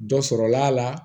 Dɔ sɔrɔla a la